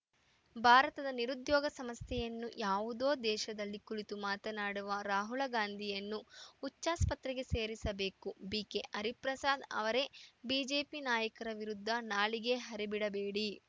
ಭಾರತದ ನಿರುದ್ಯೋಗ ಸಮಸ್ಯೆಯನ್ನು ಯಾವುದೋ ದೇಶದಲ್ಲಿ ಕುಳಿತು ಮಾತನಾಡುವ ರಾಹುಲ ಗಾಂಧಿಯನ್ನು ಹುಚ್ಚಾಸ್ಪತ್ರೆಗೆ ಸೇರಿಸಬೇಕು ಬಿಕೆಹರಿಪ್ರಸಾದ್‌ ಅವರೇ ಬಿಜೆಪಿ ನಾಯಕರ ವಿರುದ್ಧ ನಾಲಿಗೆ ಹರಿಬಿಡಬೇಡಿ